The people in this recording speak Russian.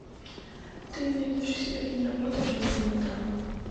ты найдешь у себя киноработу в жанре мелодрама